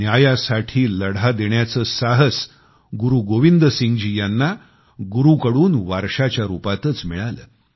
न्यायासाठी लढा देण्याचे साहस गुरू गोविंद सिंगजी यांना गुरूंकडून वारसाच्या रूपातच मिळाले